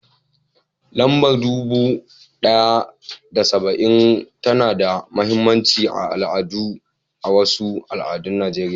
Lambar dubu ɗaya da saba'in tana da mahimmancin al'adu a wasu al'adun Najeriya.